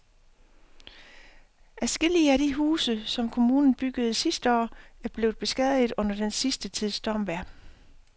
Adskillige af de huse, som kommunen byggede sidste år, er blevet beskadiget under den sidste tids stormvejr.